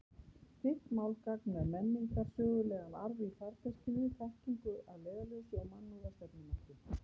Þitt málgagn með menningarsögulegan arf í farteskinu, þekkingu að leiðarljósi og mannúð að stefnumarki.